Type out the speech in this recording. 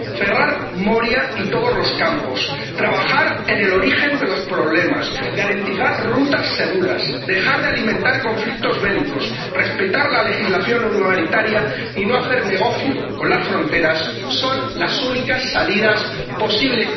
Cerrar Moria y todos los campos, trabajar en el origen de los problemas, garantizar rutas seguras, dejar de alimentar conflictos bélicos, respetar la legislación humanitaria y no hacer negocio con las fronteras son las únicas salidas posibles.